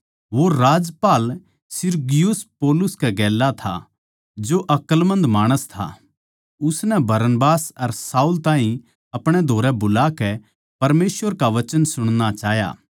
वो राज्यपाल Sergius Paulus कै गेल्या था जो अकलमंद माणस था उसनै बरनबास अर शाऊल ताहीं अपणे धोरै बुलाकै परमेसवर का वचन सुणणा चाह्या